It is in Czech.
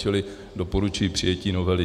Čili doporučuji přijetí novely.